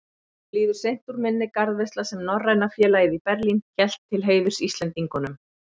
Honum líður seint úr minni garðveisla, sem Norræna félagið í Berlín hélt til heiðurs Íslendingunum.